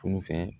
Tun fɛ